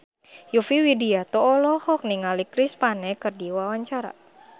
Yovie Widianto olohok ningali Chris Pane keur diwawancara